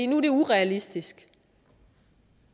nu er det urealistisk